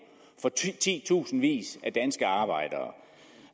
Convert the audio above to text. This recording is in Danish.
for titusindvis af danske arbejdere